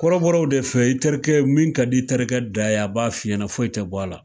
Kɔrɔbɔrɔw de fe yen, i terikɛ min ka di i terikɛ da ye, a b'a f'i ɲɛna foyi tɛ bɔ a la.